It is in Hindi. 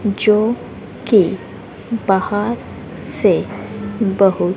जो कि बाहर से बहुत--